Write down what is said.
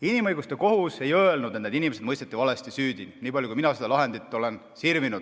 Inimõiguste kohus ei öelnud, et need inimesed mõisteti valesti süüdi, võin öelda, niipalju kui mina seda lahendit olen sirvinud.